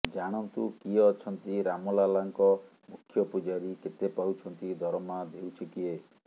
ଜାଣନ୍ତୁ କିଏ ଅଛନ୍ତି ରାମ ଲାଲାଙ୍କ ମୁଖ୍ୟ ପୂଜାରୀ କେତେ ପାଉଛନ୍ତି ଦରମା ଦେଉଛି କିଏ